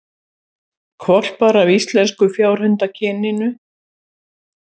Hvolpar af íslenska fjárhundakyninu